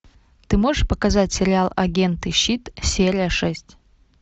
ты можешь показать сериал агенты щит серия шесть